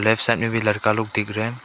इस साइड में भी लड़का लोग दिख रहे--